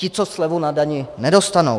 Ti co, slevu na dani nedostanou.